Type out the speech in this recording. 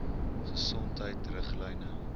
gesondheidriglyne